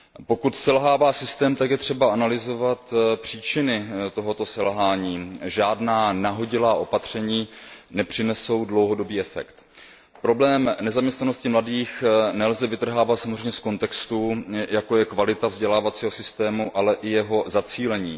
Pokud selhává systém, tak je třeba analyzovat příčiny tohoto selhání, žádná nahodilá opatření nepřinesou dlouhodobý efekt. Problém nezaměstnanosti mladých nelze vytrhávat samozřejmě z kontextu, jako je kvalita vzdělávacího systému, ale i jeho zacílení.